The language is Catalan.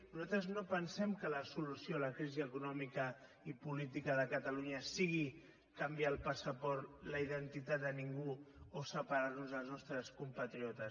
nosaltres no pensem que la solució a la crisi econòmica i política de catalunya sigui canviar el passaport la identitat a ningú o separar nos dels nostres compatriotes